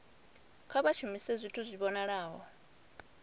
kha vha shumise zwithu zwi vhonalaho